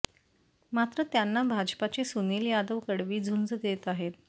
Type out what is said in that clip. मात्र त्यांना भाजपाचे सुनील यादव कडवी झुंज देत आहेत